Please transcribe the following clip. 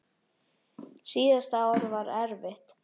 Síðasta ár var erfitt.